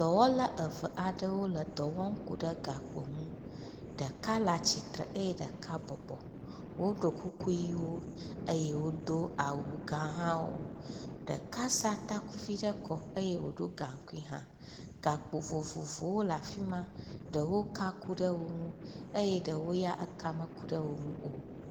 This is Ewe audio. Dɔwɔla eve aɖewo le dɔ wɔm ku ɖe gakpo ŋu. Ɖeka le atsitre eye ɖeka bɔbɔ. Woɖo kuku ʋiwo eye wodo awu gã hã wo. Ɖeka sa tkuvi ɖe kɔ eye wodo awu ʋi. Ɖewo ya ka ku ɖe wo ŋu eye ɖewo ya ka meku ɖe wo ŋu o.